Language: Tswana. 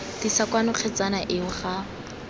tlisa kwano kgetsana eo ga